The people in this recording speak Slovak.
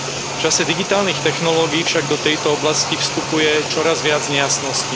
V čase digitálnych technológií však do tejto oblasti vstupuje čoraz viac nejasností.